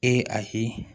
Ee ayi